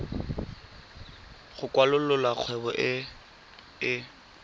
go kwalolola kgwebo e e